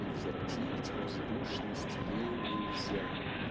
и возвратить воздушность ей нельзя